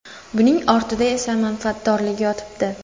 Buning ortida esa manfaatdorlik yotibdi.